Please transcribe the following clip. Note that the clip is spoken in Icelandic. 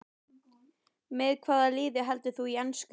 Með hvaða liði heldurðu í ensku?